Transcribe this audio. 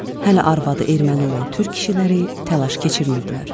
Hələ arvadı erməni olan türk kişiləri təlaş keçirmirdilər.